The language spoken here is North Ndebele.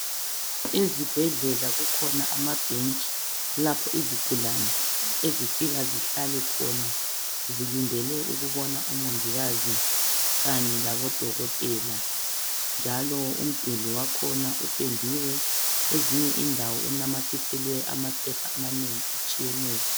Ezibhedlela kukhona amabhentshi lapho izigulane ezifika zihlale khona zilindele zilindele ukubona umongikazi Kanye labodokotela njalo umduli wakhona ipendiwe kwenzinye indawo inanyathiselwe amaphepha amanengi atshiyeneyo.